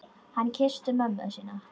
Hann kyssti mömmu sína.